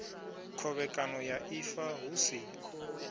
khovhekano ya ifa hu si